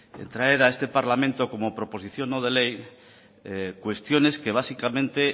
traer a este parlamento como proposición no de ley cuestiones que básicamente